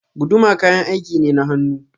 Guduma kayan aiki ne na hannu.